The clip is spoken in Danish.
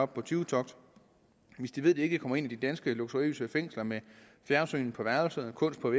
på tyvetogt hvis de ved at de ikke kommer ind i de danske luksuriøse fængsler med fjernsyn på værelset kunst på